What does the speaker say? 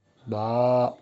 ба